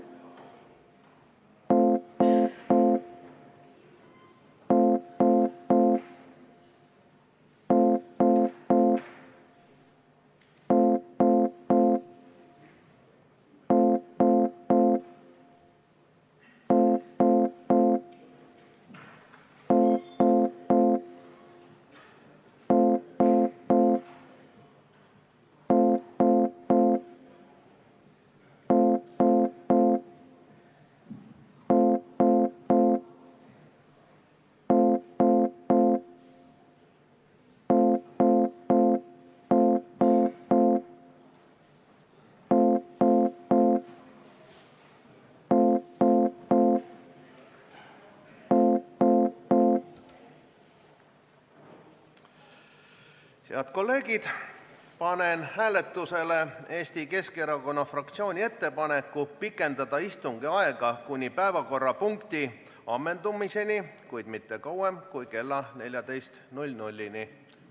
Head kolleegid, panen hääletusele Eesti Keskerakonna fraktsiooni ettepaneku pikendada istungi aega kuni päevakorrapunkti ammendumiseni, kuid mitte kauem kui kella 14-ni.